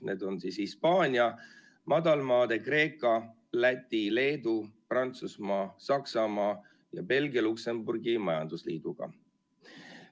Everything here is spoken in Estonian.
Need on Hispaania, Madalmaade, Kreeka, Läti, Leedu, Prantsusmaa, Saksamaa ja Belgia-Luksemburgi majandusliiduga.